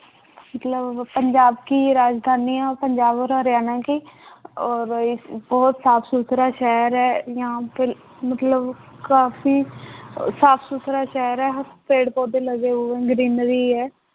ਮਤਲਬ ਪੰਜਾਬ ਕੀ ਰਾਜਧਾਨੀ ਹੈ, ਪੰਜਾਬ ਹਰਿਆਣਾ ਕੀ ਔਰ ਇਹ ਬਹੁਤ ਸਾਫ਼ ਸੁਥਰਾ ਸ਼ਹਿਰ ਹੈ ਯਹਾਂ ਪਰ ਮਤਲਬ ਕਾਫ਼ੀ ਅਹ ਸਾਫ਼ ਸੁਥਰਾ ਸ਼ਹਿਰ ਹੈ, ਪੇੜ ਪੌਦੇ ਲਗੇ ਹੋਏ greenery ਹੈ